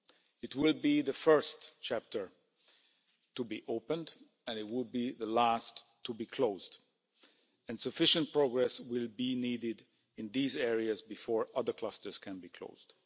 It will be the first chapter to be opened and it will be the last to be closed. And sufficient progress will be needed in these areas before other clusters can be closed.